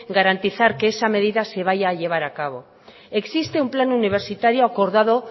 garantizar que esa medida se vaya a llevar a cabo existe un plan universitario acordado